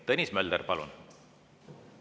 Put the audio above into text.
Tõnis Mölder, palun!